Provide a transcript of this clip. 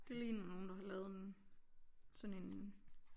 Det ligner nogen der har lavet en sådan en